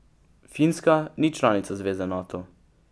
Finska ni članica zveze Nato.